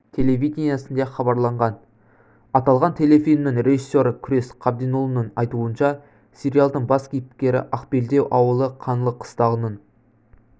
телевидениесінде хабарланған аталған телефильмнің режиссері күрес қабденұлының айтуынша сериялдың бас кейіпкері ақбелдеу ауылы қаңлы қыстағының